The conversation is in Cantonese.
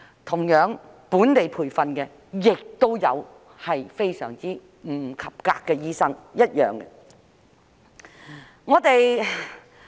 同樣，本地培訓的醫生亦有不及格，是對等的。